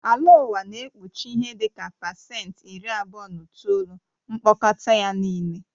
Ala ụwa na-ekpuchi ihe dị ka pasenti iri abụọ na itoolu mkpọkọta ya nịle